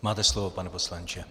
Máte slovo, pane poslanče.